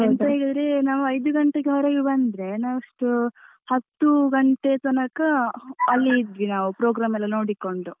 ಎಂತ ಹೇಳಿದ್ರೆ ನಾವು ಐದು ಗಂಟೆಗೆ ನಾವು ಹೊರಗೆ ಬಂದ್ರೆ ನಾವೆಷ್ಟು ಹತ್ತು ಗಂಟೆ ತನಕ ಅಲ್ಲಿ ಇದ್ವಿ ನಾವು program ಎಲ್ಲ ನೋಡಿಕೊಂಡು.